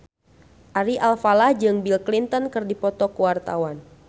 Ari Alfalah jeung Bill Clinton keur dipoto ku wartawan